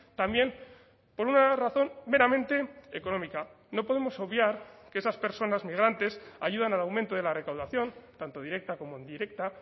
también por una razón meramente económica no podemos obviar que esas personas migrantes ayudan al aumento de la recaudación tanto directa como indirecta